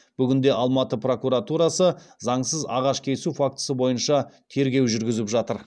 бүгінде алматы прокуратурасы заңсыз ағаш кесу фактісі бойынша тергеу жүргізіп жатыр